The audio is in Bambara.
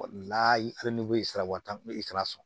sara wari t'an ni i taara so